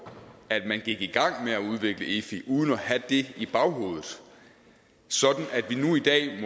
at man gik i gang med at udvikle efi uden at have det i baghovedet sådan